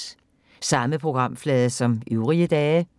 Samme programflade som øvrige dage